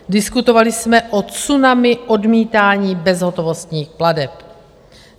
Diskutovali jsme o tsunami odmítání bezhotovostních plateb.